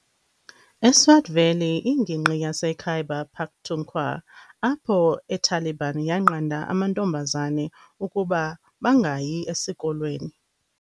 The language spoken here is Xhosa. eSwat Valley ingingqi yase Khyber Pakhtunkhwa apho eTaliban yanqanda amantombazane ukuba bangayi esikolweni.